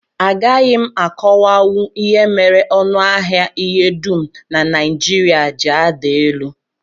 Agaghị m akọwanwu ihe mere ọnụahịa ihe dum na Naijiria ji ada elu